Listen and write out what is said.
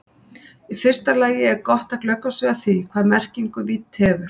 Í fyrsta lagi er gott að glöggva sig á því hvaða merkingu vídd hefur.